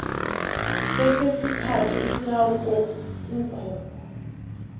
kwesesithathu isahauko kukho